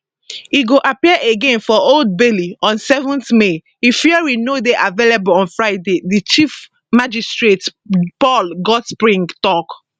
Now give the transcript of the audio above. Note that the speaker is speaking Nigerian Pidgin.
e go appear again for old bailey on 7 may if hearing no dey available on friday di chief magistrate paul goldspring tok